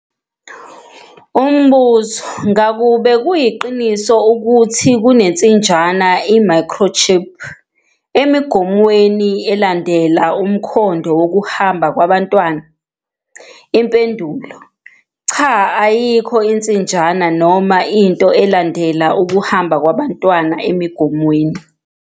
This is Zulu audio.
Umbuzo- Ngakube kuyiqiniso ukuthi kunensinjana i-microchip emigomweni, elandela umkhondo wokuhamba kwabantu? Impendulo- Cha. Ayikho insinjana noma into elandela ukuhamba kwabantu emigomweni.